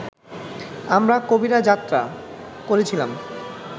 আমরা কবিরা যাত্রা করেছিলাম